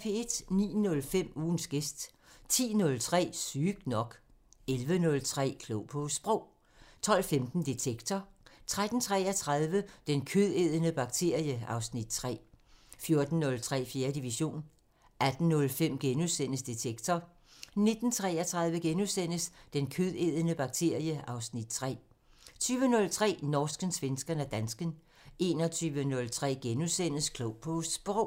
09:05: Ugens gæst 10:03: Sygt nok 11:03: Klog på Sprog 12:15: Detektor 13:33: Den kødædende bakterie (Afs. 3) 14:03: 4. division 18:05: Detektor * 19:33: Den kødædende bakterie (Afs. 3)* 20:03: Norsken, svensken og dansken 21:03: Klog på Sprog *